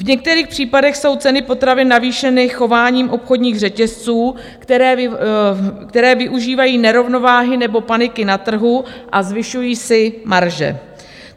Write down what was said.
V některých případech jsou ceny potravin navýšeny chováním obchodních řetězců, které využívají nerovnováhy nebo paniky na trhu a zvyšují si marže.